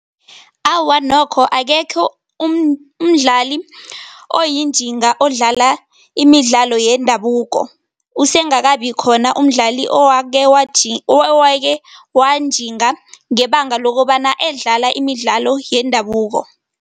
Awa, nokho akekho umdlali oyinjinga odlala imidlalo yendabuko. Usengakabikhona umdlali owake owake wanjinga ngebanga lokobana edlala imidlalo yendabuko.